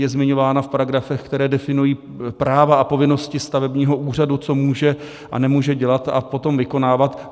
Je zmiňována v paragrafech, které definují práva a povinnosti stavebního úřadu, co může a nemůže dělat a potom vykonávat.